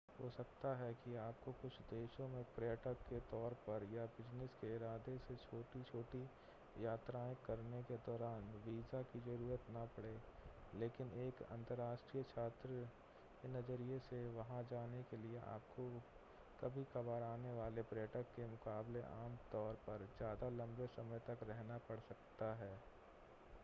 हो सकता है कि आपको कुछ देशों में पर्यटक के तौर पर या बिज़नेस के इरादे से छोटी-छोटी यात्राएं करने के दौरान वीजा की ज़रूरत न पड़े लेकिन एक अंतरराष्ट्रीय छात्र के नज़रिए से वहां जाने के लिए आपको कभी-कभार आने वाले पर्यटक के मुकाबले आम तौर पर ज़्यादा लंबे समय तक रहना पड़ता है